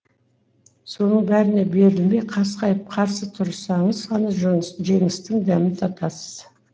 соның бәріне берілмей қасқайып қарсы тұрсаңыз ғана жеңістің дәмін татасыз